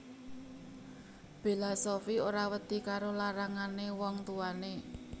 Bella Sofie ora wedi karo larangane wong tuwane